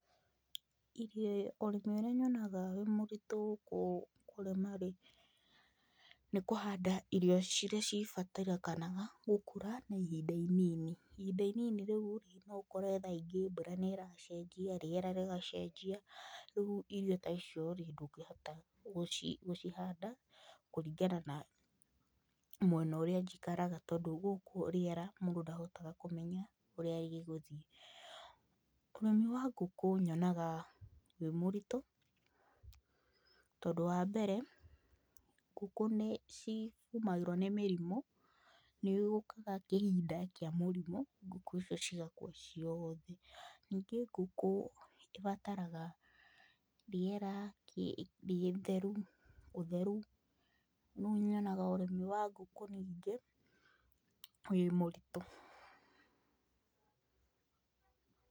Irio ũrĩmi ũrĩa nyonaga wĩ mũritũ kũrima rĩ, nĩ kũhanda irio ciria cibatarĩkanaga gũkũra na ihinda inini. Ihinda inini rĩu rĩ, no ũkore tha ingĩ mbura nĩ iracenjia, rĩera rĩgacenjia. Rĩu irio ta icio rĩ, ndũngĩhota gũcihanda, kũringana na mwena ũrĩa njikaraga. Tondũ gũkũ rĩera mũndũ ndahotaga kũmenya ũrĩa gĩgũthiĩ. Ũrĩmi wa ngũkũ nyonaga wĩ mũritũ, tondũ wa mbere, ngũkũ nĩ ciumagĩrwo nĩ mĩrimũ, nĩ gũũkaga kĩhinda kĩa mũrimũ, ngũkũ icio cigakua ciothe. Ningĩ ngũkũ ĩbataraga rĩera rĩtheru, ũtheru. Rĩu nyonaga ũrĩmi wa ngũkũ ningĩ wĩ mũritũ.